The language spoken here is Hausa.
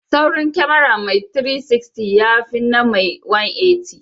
Saurin kyamara mai 360, ya fina na mai 180.